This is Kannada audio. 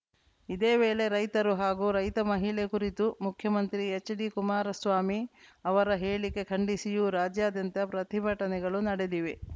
ಇದೇ ವೇಳೆ ರೈತರು ಹಾಗೂ ರೈತ ಮಹಿಳೆ ಕುರಿತು ಮುಖ್ಯಮಂತ್ರಿ ಎಚ್‌ಡಿಕುಮಾರಸ್ವಾಮಿ ಅವರ ಹೇಳಿಕೆ ಖಂಡಿಸಿಯೂ ರಾಜ್ಯಾದ್ಯಂತ ಪ್ರತಿಭಟನೆಗಳು ನಡೆದಿವೆ